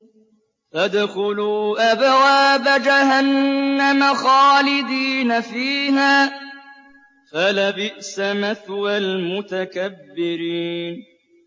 فَادْخُلُوا أَبْوَابَ جَهَنَّمَ خَالِدِينَ فِيهَا ۖ فَلَبِئْسَ مَثْوَى الْمُتَكَبِّرِينَ